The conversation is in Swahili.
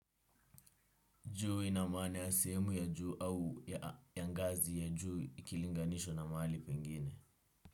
Juu ina maana ya sehemu ya juu au ya ngazi ya juu ikilinganishwa na mahali pengine.